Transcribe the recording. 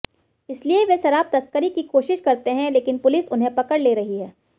इसलिए वे शराब तस्करी की कोशिश करते हैं लेकिन पुलिस उन्हें पकड़ ले रही है